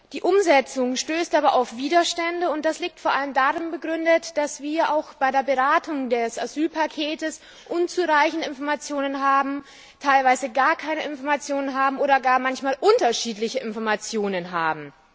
Die Umsetzung stößt aber auf Widerstände, und das liegt vor allem darin begründet, dass wir auch bei der Beratung des Asylpakets unzureichende Informationen, teilweise gar keine Informationen oder manchmal gar unterschiedliche Informationen haben.